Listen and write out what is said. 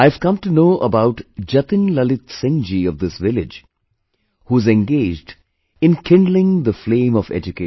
I have come to know about Jatin Lalit Singh ji of this village, who is engaged in kindling the flame of education